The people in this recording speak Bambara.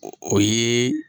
O o ye .